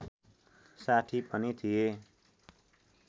साथी पनि थिए